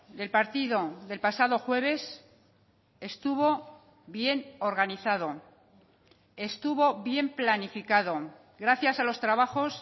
del partido del pasado jueves estuvo bien organizado estuvo bien planificado gracias a los trabajos